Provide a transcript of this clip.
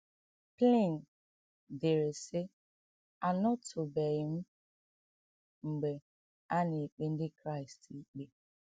Pliny dere, sị: “ Anọtụbeghị m mgbe a na - ekpe Ndị Kraịst ikpe.